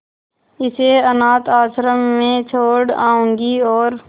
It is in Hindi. इसे अनाथ आश्रम में छोड़ जाऊंगी और